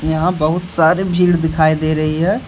यहां बहुत सारे भीड दिखाई दे रही है।